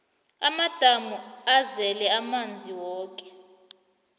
amadamu azele amanzi woke